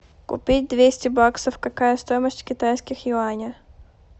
купить двести баксов какая стоимость в китайских юанях